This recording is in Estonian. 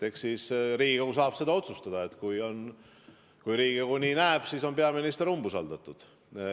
Eks siis Riigikogu saab otsustada ja kui Riigikogu seda nii näeb, siis on peaminister umbusaldatud.